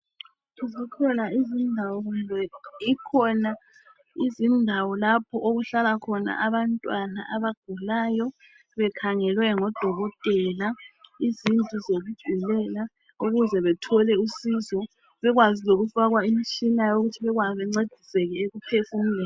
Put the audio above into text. Zikhona izindawo, kumbe ikhona indawo lapho okuhlala khona abantwana abagulayo bekhangelwe ngodokotela, izindlu zokugulela umuze bethole usizo, bekwazi lokufakwa imtshina ukuze bencediseke ekuphefumuleni.